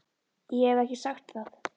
Ég hef ekki sagt það!